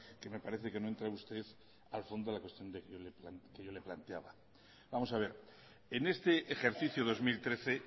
que me parece que no ha entrado usted al fondo de la cuestión que yo le he planteado vamos a ver en este ejercicio dos mil trece